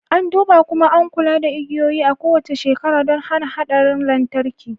An duba, kuma an kula da igiyoyi a kowace shekara don hana haɗarin lantarki